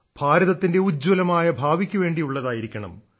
ഭാരതത്തിന്റെ ഉജ്ജ്വലമായ ഭാവിക്കു വേണ്ടിയുള്ളതായിരിക്കണം